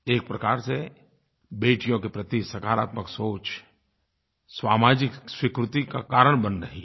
एक प्रकार से बेटियों के प्रति सकारात्मक सोच सामाजिक स्वीकृति का कारण बन रही है